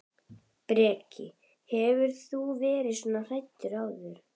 Breki: Hefur þú verið svona hræddur áður?